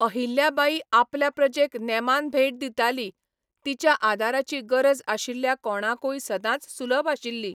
अहिल्या बाई आपल्या प्रजेक नेमान भेट दिताली, तिच्या आदाराची गरज आशिल्ल्या कोणाकूय सदांच सुलभ आशिल्ली.